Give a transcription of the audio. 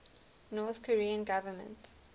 north korean government